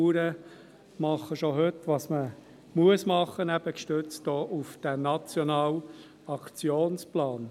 Die Bauern machen schon heute, was man tun muss, eben auch gestützt auf diesen Nationalen Aktionsplan.